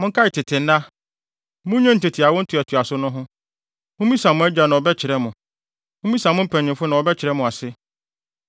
Monkae tete nna; munnwen tete awo ntoatoaso no ho. Mummisa mo agya na ɔbɛkyerɛ mo. Mummisa mo mpanyimfo na wɔbɛkyerɛ mo ase.